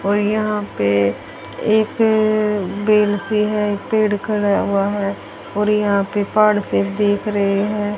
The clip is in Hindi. और यहां पे एक अ पेड़ है पेड़ खड़ा हुआ है और यहां पर पहाड़ से देख रहे हैं।